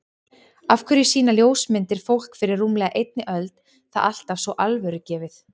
Af hverju sýna ljósmyndir fólk fyrir rúmlega einni öld það alltaf svo alvörugefið?